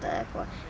eitthvað